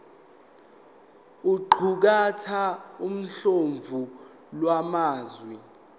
iqukathe uhlamvu lwamazwi